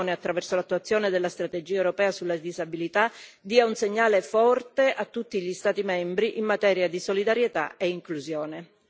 È necessario che l'Unione, attraverso l'attuazione della strategia europea sulla disabilità, dia un segnale forte a tutti gli Stati membri in materia di solidarietà e inclusione.